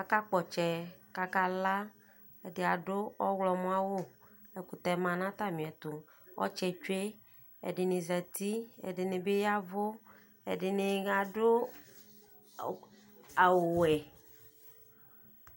Akakp'ɔtsɛ k'aka la k'ɛdɩ adʋ ɔɣlɔmɔ awʋ, ɛkʋtɛ ma nʋ atamiɛtʋ, ɔtsɛ tsue, ɛdɩni zati, ɛdɩnɩ bɩ yavʋ, ɛdɩnɩ adʋ awʋ wɛ